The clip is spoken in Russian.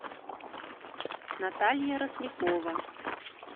наталья рослякова